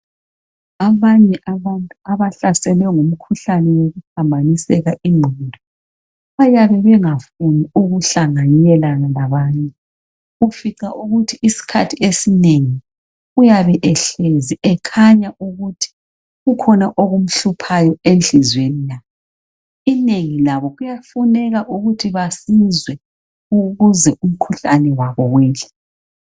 Abanye abantu abahlaselwe ngumkhuhlane wokuphambaniseka ingqondo bayabe bengafuni ukuhlanganela labanye ufica ukuthi isikhathi esinengi uyabe ehlezi ekhanya kukhona okumhluphayo enhliziyweni yakhe. Inengi labo kuyafuna ukuthi basizwe ukuze umkhuhlane wabo wehle.